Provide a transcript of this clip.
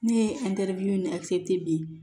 Ne ye di